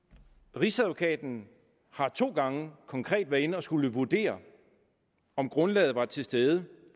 rigsadvokaten har to gange konkret været inde at skulle vurdere om grundlaget var til stede